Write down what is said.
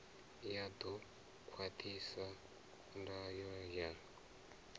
ya ḓo khwaṱhisa ndango ya